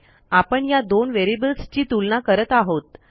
आपण या दोन व्हेरिएबल्सची तुलना करत आहोत